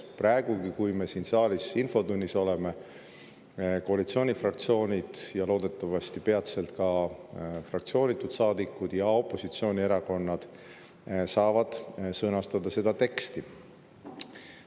Praegugi, kui me siin saalis infotunnis oleme, koalitsioonifraktsioonid ja loodetavasti peatselt ka fraktsioonitud saadikud ja opositsioonierakonnad saavad seda teksti sõnastada.